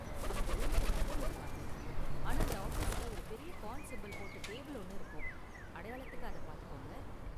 அவங்க ரூமுக்கு நம்பர் இருக்காது, ஆனா அந்த ஆபீஸ்ல ஒரு பெரிய கான் சிம்பல் போட்ட டேபிள் ஒன்னு இருக்கும். அடையாளத்துக்கு அதை பாத்துக்கோங்க.